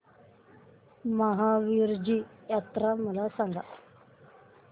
महावीरजी जत्रा मला सांग